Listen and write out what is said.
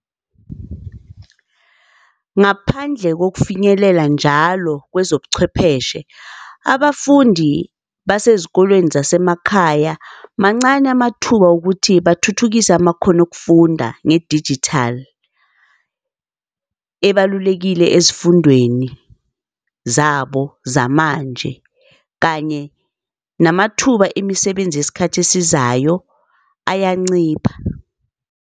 Ngaphandle kokufinyelela njalo kwezobuchwepheshe, abafundi basezikolweni zasemakhaya mancane amathuba wokuthi bathuthukise amakhono okufunda ngedijithali ebalulekile ezifundweni zabo zamanje, kanye namathuba emisebenzi yesikhathi esizayo ayancipha.